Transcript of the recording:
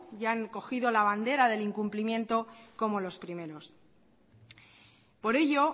y han cogido la bandera del incumplimiento como los primeros por ello